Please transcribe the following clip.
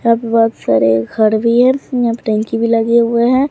यहां पे बहुत सारे घर भी हैं यहां पे टंकी भी लगे हुए हैं।